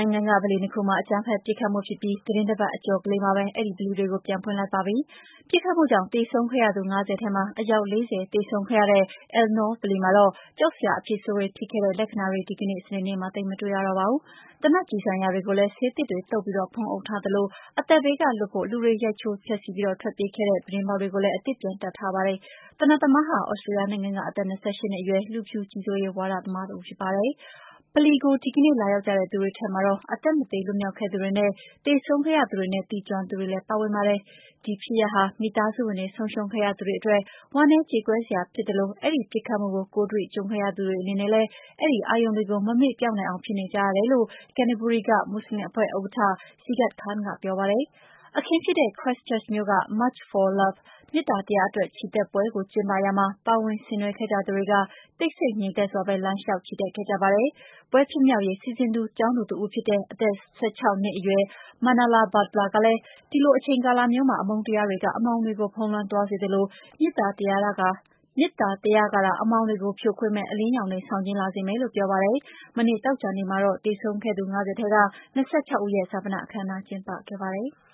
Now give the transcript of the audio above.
ိုင်ငံက ဗလီနှစ်ခုမှာ အကြမ်းဖက် ပစ်ခတ်မှုဖြစ်ပြီး သီတင်းတပတ်အကျော်မှာပဲ အဲဒီဗလီတွေကို ပြန်ဖွင့်လိုက်ပါပြီ။ ပစ်ခတ်မှုကြောင့် သေဆုံးခဲ့ရသူ ၅၀ ထဲမှာ အယောက် ၄၀ သေဆုံးခဲ့ရတဲ့ Al Noor ဗလီမှာတော့ ကြောက်စရာ အဖြစ်ဆိုးတွေဖြစ်ခဲ့တဲ့ လက္ခဏာတွေ ဒီကနေ့စနေနေ့မှာ သိပ်မတွေ့ရတော့ပါဘူး။ သေနတ် ကျည်ဆံရာတွေကိုလည်း ဆေးသစ်တွေသုတ်ပြီး ဖုံးအုပ်ထားသလို အသက်ဘေးက လွတ်ဖို့ ရိုက်ချိုး ဖျက်ဆီးပြီး ထွက်ပြေးခဲ့တဲ့ ပြတင်းပေါက်တွေကိုလည်း အသစ်ပြန်တပ်ထားပါတယ်။ သေနတ်သမားဟာ သြစတေးလျနိုင်ငံက အသက် ၂၈ နှစ်အရွယ် လူဖြူကြီးစိုးရေး ဝါဒသမားတဦး ဖြစ်ပါတယ်။ ဗလီကို ဒီကနေ့ လာရောက်ကြတဲ့သူတွေထဲမှတော့ အသက်မသေ လွတ်မြောက်ခဲ့သူတွေနဲ့ သေဆုံးခဲ့ရသူတွေနဲ့ သိကျွမ်းသူတွေလည်း ပါဝင်ပါတယ်။ ဒီဖြစ်ရပ်ဟာ မိသားစုဝင်တွေ ဆုံးရှုံးခဲ့ရသူတွေ အတွက် ဝမ်းနည်းကြေကွဲစရာ ဖြစ်သလို အဲဒီပစ်ခတ်မှုကို ကိုယ်တွေ့ ကြုံတွေ့ခဲ့ရသူတွေ အနေနဲ့လည်း အဲဒီအာရုံတွေ မမေ့ပျောက်နိုင်အောင် ဖြစ်နေကြတယ်လို့ Cantebury က မွတ်ဆလင်အဖွဲ့ဥက္ကဌ Shagat Khan က ပြောပါတယ်။ အခင်းဖြစ်ခဲ့တဲ့ Christchurch မြို့မှာ March For Love မေတ္တာတရားအတွက် ချီတက်ပွဲ ကို ကျင်းပရာမှာ ပါဝင်ဆင်နွှဲခဲ့ကြသူတွေက တိတ်ဆိတ်ငြိမ်သက်စွာပဲ လမ်းလျောက်ချီတက်ခဲ့ကြပါတယ်။ ပွဲဖြစ်မြောက်ရေး စီစဉ်သူတဦးဖြစ်တဲ့ အသက် ၁၆ နှစ်အရွယ် ကျောင်းသူ Manala Butler က ဒီလို အချိန်ကာလမျိုးမှာ အမုန်းတရားက အမှောင်တွေ ဖုံးလွှမ်းသွားစေသလို မေတ္တာတရားကသာ အမှောင်တွေကို ကျော်လွှားမယ့် အလင်းရောင်တွေ ဆောင်ကျဉ်းလာစေမယ်လို့ ပြောပါတယ်။ မနေ့ သောကြာနေ့မှာတော့ သေဆုံးခဲ့သူ ၅၀ ထဲက ၂၆ ဦးရဲ့ ဈာပနအခမ်းအနာကျင်းပခဲ့ပါတယ်။